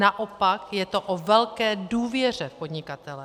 Naopak, je to o velké důvěře v podnikatele.